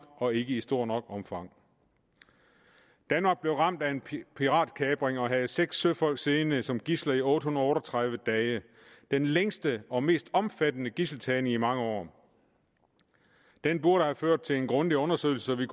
og ikke i stort nok omfang danmark blev ramt af en piratkapring og havde seks søfolk siddende som gidsler i otte hundrede og tredive dage den længste og mest omfattende gidseltagning i mange år den burde have ført til en grundig undersøgelse så vi